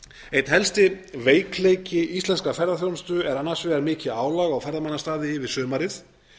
einn helsti veikleiki íslenskrar ferðaþjónustu er annars vegar mikið álag á ferðamannastaði yfir sumarið